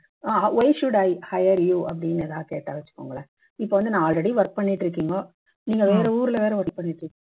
ah why should I higher you அப்படின்னு ஏதாவது கேட்டா வச்சுக்கோங்களேன் இப்ப வந்து நான் already work பண்ணிட்டு இருககீங்க நீங்க வேற ஊர்ல வேற work பண்ணிட்டு